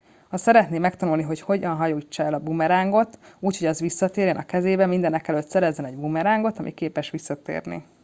ha szeretné megtanulni hogy hogyan hajítsa el a bumerángot úgy hogy az visszatérjen a kezébe mindenekelőtt szerezzen egy bumerángot ami képes visszatérni